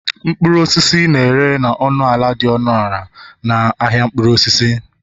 mkpụrụ osisi na-ere na ọnụ ala dị ọnụ ala na ahịa mkpụrụ osisi